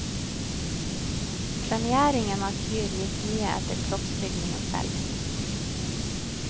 Premieringen av kyr gikk mye etter kroppsbygning og stell.